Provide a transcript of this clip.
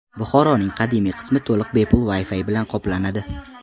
Buxoroning qadimiy qismi to‘liq bepul Wi-Fi bilan qoplanadi.